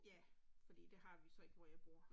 Ja, fordi det har vi så ikke hvor jeg bor